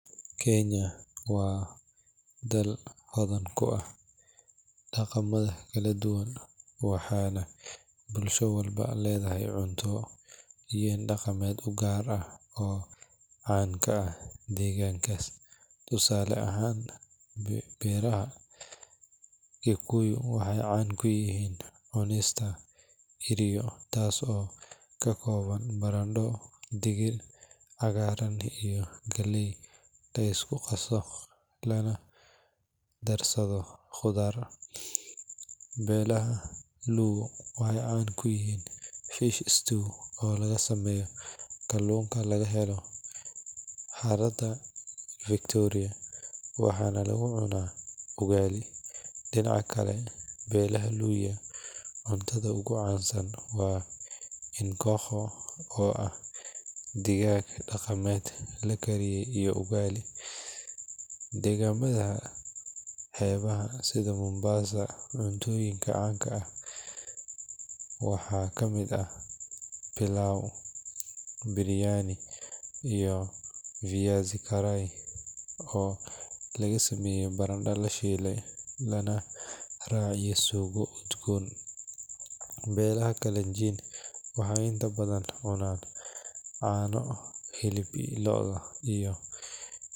Kenya waa dal hodan ku ah daqamo kala duban, daqan gaar oo caan ku ah meeshaas, barado cagaaran iyo digit, waxeey caan ku yihiin kaluun, waxaana lagu cuna bosha, daqanka kale waa digaag, dagamaha xeebaha cuntooyinka ugu caansan waa barada lashiile, inta badan waxeey cunaan caano, hilibka looda.